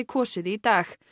kosið í dag